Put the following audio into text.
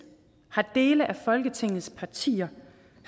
har dele af folketingets partier